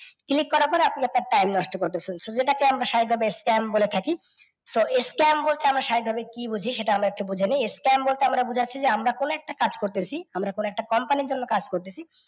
click করার পর আপনি আপনার time নষ্ট করতেছেন। So এটাকে আমরা সাভাবিক ভাবে scam বলে থাকি। So এই scam বলতে আমরা সাভাবিক ভাবে কি বুঝি সেটা আমরা একটু বুঝে নিই, s scam বলতে বোঝাচ্ছি যে আমরা কোনও একটা কাজ করতেছি, আমরা কোনও একটা company এর কোনও কাজ করতেছি